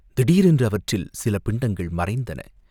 திடீரென்று அவற்றில் சில பிண்டங்கள் மறைந்தன.